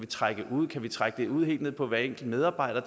trække ud kan vi trække oplysninger ud helt ned på hver enkelt medarbejder